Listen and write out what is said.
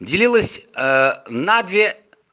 делилось на две